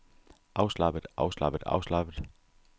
afslappet afslappet afslappet